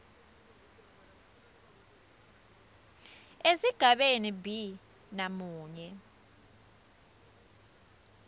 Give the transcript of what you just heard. esigabeni b namunye